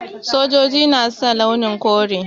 Sojoji na sa launi kore.